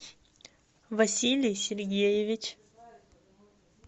василий сергеевич